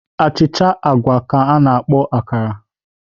Achịcha agwa ka a na-akpọ akara